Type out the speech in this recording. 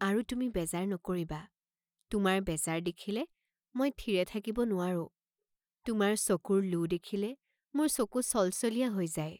আৰু তুমি বেজাৰ নকৰিবা, তোমাৰ বেজাৰ দেখিলে মই থিৰে থাকিব নোৱাৰোঁ, তোমাৰ চকুৰ লো দেখিলে মোৰ চকু চলচলীয়া হৈ যায়।